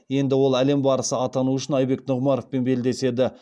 енді ол әлем барысы атану үшін айбек нұғымаровпен белдеседі